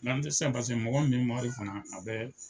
N'an tɛ se paseke mɔgɔ min bɛ mɔbili kɔnɔ a bɛ